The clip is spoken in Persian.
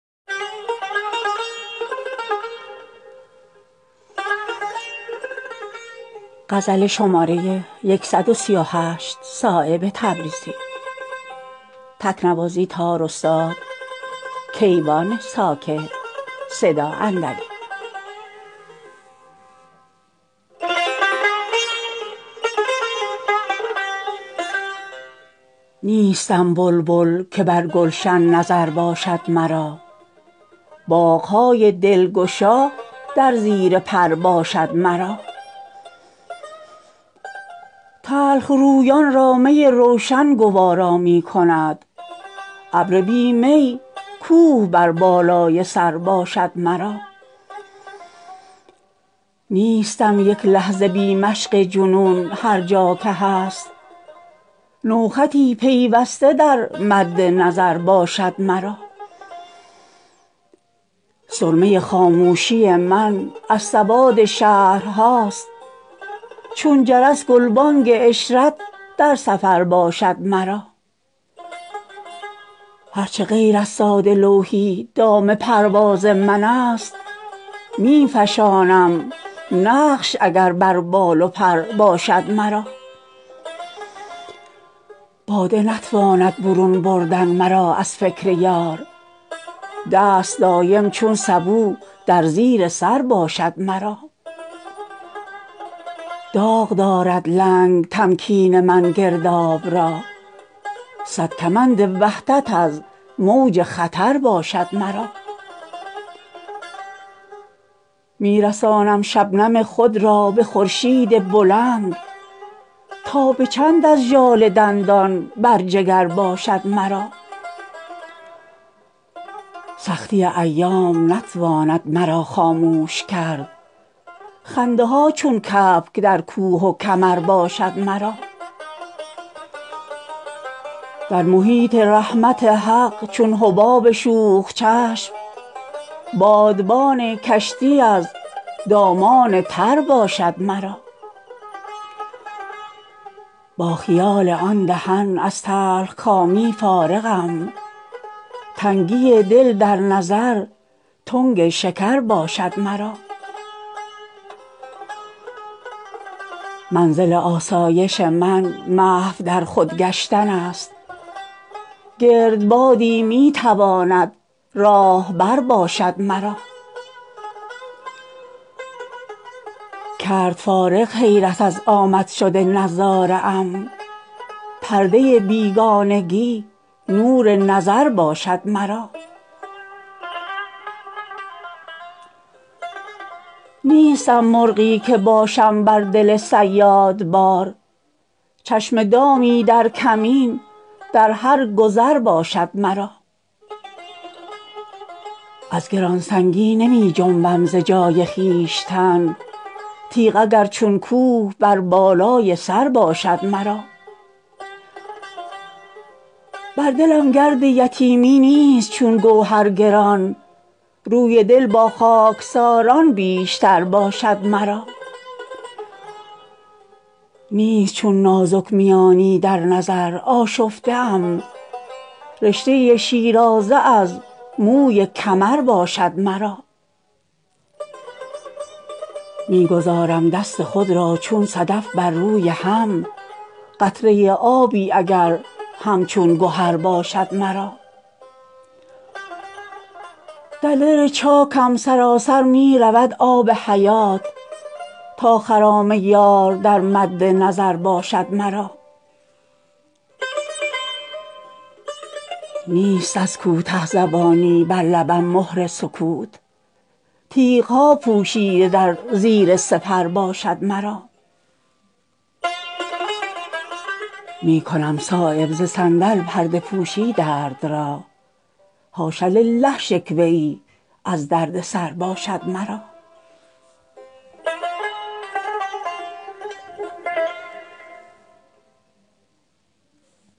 نیستم بلبل که بر گلشن نظر باشد مرا باغ های دلگشا در زیر پر باشد مرا تلخرویان را می روشن گوارا می کند ابر بی می کوه بر بالای سر باشد مرا نیستم یک لحظه بی مشق جنون هر جا که هست نوخطی پیوسته در مد نظر باشد مرا سرمه خاموشی من از سواد شهرهاست چون جرس گلبانگ عشرت در سفر باشد مرا هر چه غیر از ساده لوحی دام پرواز من است می فشانم نقش اگر بر بال و پر باشد مرا باده نتواند برون بردن مرا از فکر یار دست دایم چون سبو در زیر سر باشد مرا داغ دارد لنگ تمکین من گرداب را صد کمند وحدت از موج خطر باشد مرا می رسانم شبنم خود را به خورشید بلند تا به چند از ژاله دندان بر جگر باشد مرا سختی ایام نتواند مرا خاموش کرد خنده ها چون کبک در کوه و کمر باشد مرا در محیط رحمت حق چون حباب شوخ چشم بادبان کشتی از دامان تر باشد مرا با خیال آن دهن از تلخکامی فارغم تنگی دل در نظر تنگ شکر باشد مرا منزل آسایش من محو در خود گشتن است گردبادی می تواند راهبر باشد مرا کرد فارغ حیرت از آمد شد نظاره ام پرده بیگانگی نور نظر باشد مرا نیستم مرغی که باشم بر دل صیاد بار چشم دامی در کمین در هر گذر باشد مرا از گرانسنگی نمی جنبم ز جای خویشتن تیغ اگر چون کوه بر بالای سر باشد مرا بر دلم گرد یتیمی نیست چون گوهر گران روی دل با خاکساران بیشتر باشد مرا نیست چون نازک میانی در نظر آشفته ام رشته شیرازه از موی کمر باشد مرا می گذارم دست خود را چون صدف بر روی هم قطره آبی اگر همچون گهر باشد مرا در دل چاکم سراسر می رود آب حیات تا خرام یار در مد نظر باشد مرا نیست از کوته زبانی بر لبم مهر سکوت تیغ ها پوشیده در زیر سپر باشد مرا می کنم صایب ز صندل پرده پوشی درد را حاش للٰه شکوه ای از درد سر باشد مرا